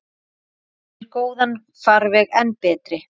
Gerir góðan farveg enn betri.